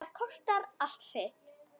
Það kostar allt sitt.